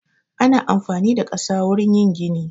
Ana amfani da ƙasa wurin yin gini